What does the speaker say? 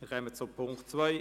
Wir kommen zum Punkt 2.